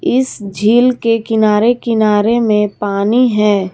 इस झील के किनारे किनारे में पानी है।